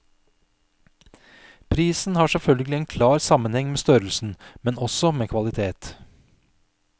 Prisen har selvfølgelig en klar sammenheng med størrelsen, men også med kvalitet.